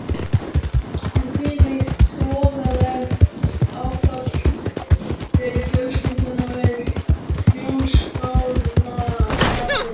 Hvílíkt voðalegt áfall fyrir fjölskylduna við Hljómskálagarðinn.